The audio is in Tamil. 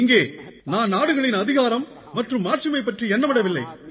இங்கே நான் நாடுகளின் அதிகாரம் மற்றும் மாட்சிமை பற்றி எண்ணமிடவில்லை